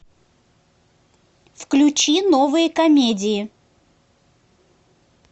включи новые комедии